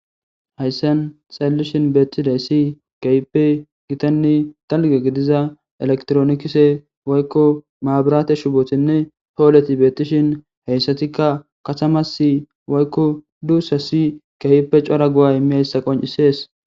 hayssen xallishin beettidaysi kahipe gitanne dalga gidiza elektronikise woykko maabirate shubothinne pooleti beettishin heyssatikka katamasi woykko duussasi kahipe cora gu7a imiyayssa qoncisees